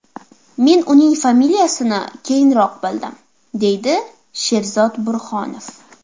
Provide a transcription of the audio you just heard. Men uning familiyasini keyinroq bildim, deydi Sherzod Burhonov.